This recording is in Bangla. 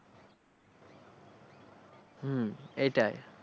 হম এইটাই।